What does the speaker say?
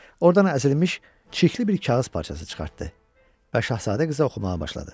Oradan əzilmiş, çirkli bir kağız parçası çıxartdı və şahzadə qıza oxumağa başladı.